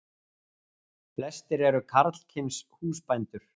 Flestir eru karlkyns húsbændur.